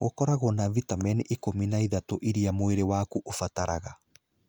Gũkoragwo na vitamini ikũmi na ithatũ iria mwĩrĩ waku ũbataraga.